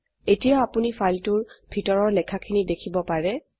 এতিয়া আপোনি ফাইলটোৰ ভিতৰৰ লেখাখিনি দেখিব পাৰে